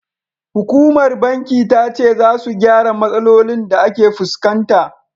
Hukumar bankin ta ce, za su gyara matsalolin da ake fuskanta.